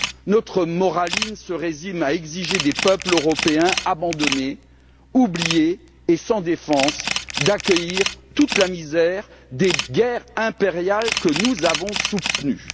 Notre moraline se résume à exiger des peuples européens abandonnés, oubliés et sans défense d'accueillir toute la misère des guerres impériales que nous avons soutenues.